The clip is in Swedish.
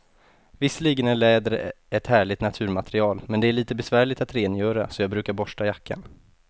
Visserligen är läder ett härligt naturmaterial, men det är lite besvärligt att rengöra, så jag brukar borsta jackan.